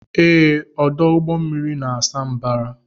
Ee, ọdụ ụgbọ mmiri na-asa mbara.